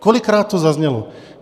Kolikrát to zaznělo?